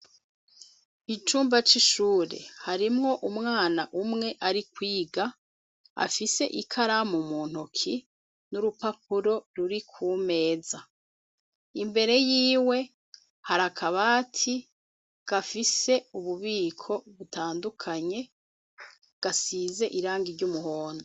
Icumba c'ishure harimwo umwana umwe ari kwiga afise ikaramu muntoke n'urupapuro ruri ku meza imbere y'iwe hari akabati gafise ububiko butandukanye gasize irangi ry'umuhondo.